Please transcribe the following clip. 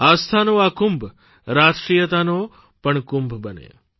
આસ્થાનો આ કુંભ રાષ્ટ્રીયતાનો પણ કુંભ બને